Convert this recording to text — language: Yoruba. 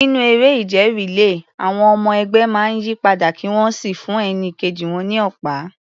Nínú eré ìje relay, àwọn ọmọ ẹgbẹ́ máa ń yí padà kí wọ́n sì fún ẹni kejì ní ọ̀pá.